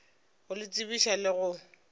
go le tsebiša le go